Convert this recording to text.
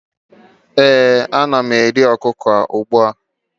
ee, ana m eri okuko ugbua